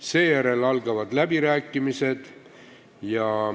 Seejärel algavad läbirääkimised.